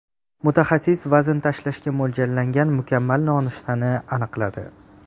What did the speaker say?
Mutaxassis vazn tashlashga mo‘ljallagan mukammal nonushtani aniqladi.